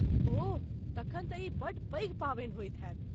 ओह, तखन तऽ ई बड्ड पैघ पावनि होयत हेतय।